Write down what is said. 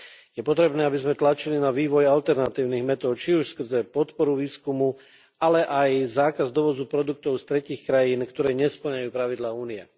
Je potrebné, aby sme tlačili na vývoj alternatívnych metód, či už skrze podpory výskumu, ale aj zákazu dovozu produktov z tretích krajín, ktoré nespĺňajú pravidlá Únie.